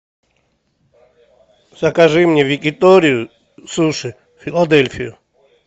закажи мне якиторию суши филадельфию